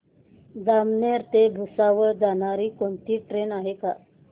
जामनेर ते भुसावळ जाणारी कोणती ट्रेन आहे का